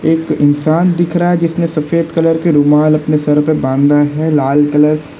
एक इंसान दिख रहा है जिसने सफेद कलर के रुमाल अपने सर पर बांधना है लाल कलर --